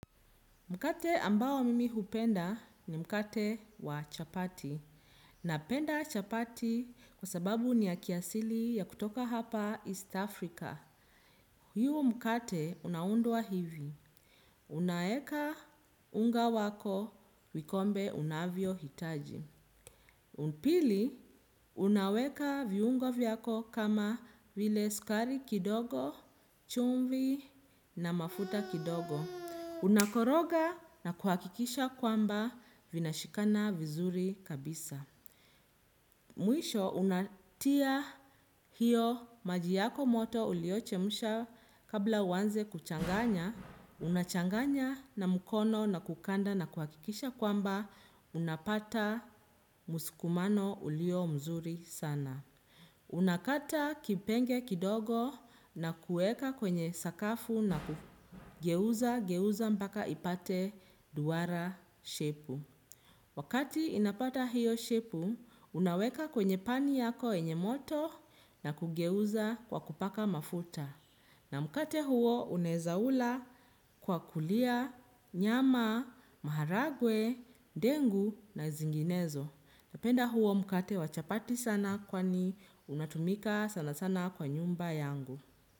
Mkate ambao mimi hupenda ni mkate wa chapati. Napenda chapati kwa sababu ni ya kiasili ya kutoka hapa East Africa. Hiu mkate unaundwa hivi. Unaeka unga wako vikombe unavyo hitaji pili unaweka viungo vyako kama vile skari kidogo chumvi na mafuta kidogo. Unakoroga na kuhakikisha kwamba vina shikana vizuri kabisa. Mwisho, unatia hiyo majiyako moto uliochemusha kabla uwanze kuchanganya. Unachanganya na mkono na kukanda na kuhakikisha kwamba unapata musikumano ulio mzuri sana. Unakata kipenge kidogo na kueka kwenye sakafu na kugeuza geuza mpaka ipate duwara shepu. Wakati inapata hiyo shepu, unaweka kwenye pani yako yenye moto na kugeuza kwa kupaka mafuta na mkate huo unaweza ula kwa kulia nyama maharagwe ndengu na zinginezo napenda huo mkate wa chapati sana kwani unatumika sana sana kwa nyumba yangu.